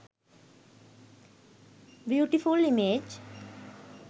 beautiful image